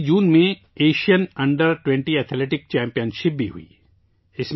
اسی جون میں Asian under twenty athletics championship بھی ہوئی